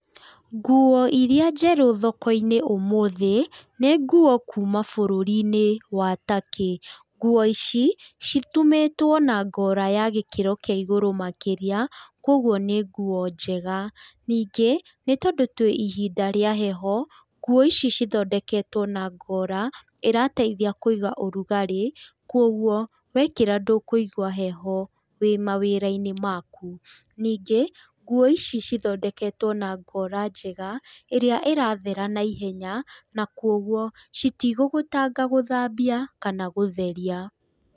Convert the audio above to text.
Nguo iria njerũ thoko-inĩ ũmũthĩ nĩ nguo kuuma bũrũri-nĩ wa Turkey. Nguo ici citumĩtwo na ngora ya gĩkĩro kĩa igũrũ makĩria, kũoguo nĩ nguo njega. Ningĩ, nĩtondũ twĩ ihinda rĩa heho, nguo ici ithondeketwo na ngora ĩrateithia kũiga ũrugarĩ, kũoguo wekĩra ndũkũigua heho wĩ mawĩra-inĩ maku. Ningĩ, nguo ici cithondeketwo na ngora njega ĩrĩa ĩrathera naihenya na kwoguo citigũgũtanga gũthambia kana gũtheria.